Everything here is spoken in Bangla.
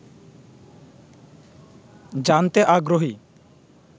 জানতে আগ্রহী